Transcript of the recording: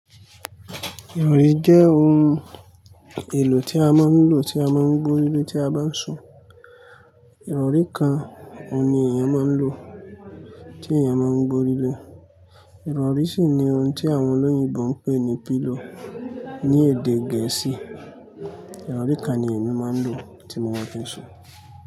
Ìrọ̀rí jẹ́ ohun èlò tí a máa ń lò, tí a máa ń gbo líle tí a bá ń sùn. Ìrọ̀rí kan òun ni èèyàn máa ń lò tí èèyàn máa ń gbe oríle. Ìrọ̀rí sì ni ohun tí àwọn olóyìnbo ń pè ní pillow ní èdè Gẹ̀ẹ́sì. Ìrọ̀rí kan ni èmi máa ń lò tí mo bá ti ń sùn.